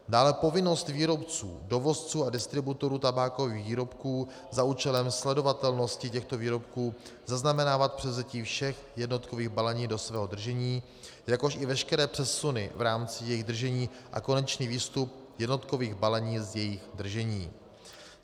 Dále povinnost výrobců, dovozců a distributorů tabákových výrobků za účelem sledovatelnosti těchto výrobků zaznamenávat převzetí všech jednotkových balení do svého držení, jakož i veškeré přesuny v rámci jejich držení a konečný výstup jednotkových balení z jejich držení.